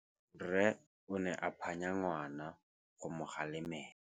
Rre o ne a phanya ngwana go mo galemela.